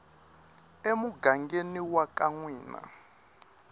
emugangeni wa ka n wina